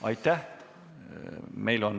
Aitäh!